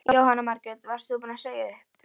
Jóhanna Margrét: Varst þú búin að segja upp?